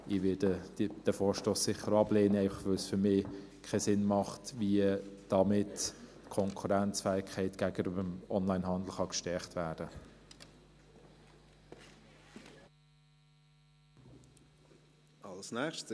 Ich werde diesen Vorstoss sicher ablehnen, einfach, weil es für mich keinen Sinn macht, dass damit die Konkurrenzfähigkeit gegenüber dem Onlinehandel gestärkt werden kann.